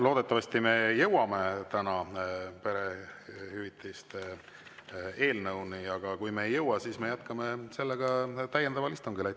Loodetavasti me jõuame täna perehüvitiste eelnõuni, aga kui me ei jõua, siis me jätkame sellega täiendaval istungil.